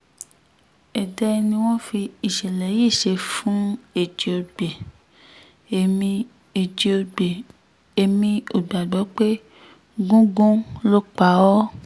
èdè ni wọ́n fi ìṣẹ̀lẹ̀ yìí ṣe fún ẹjíògbè èmi ẹjíògbè èmi ò gbàgbọ́ pé gúngun ló pa á o